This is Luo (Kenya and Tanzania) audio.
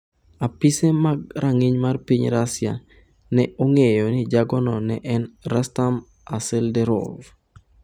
Apise mag rang'iny mar piny Russia ne ong'eyo ni jagono ne en Rustam Aselderov.